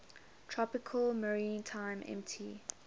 tropical maritime mt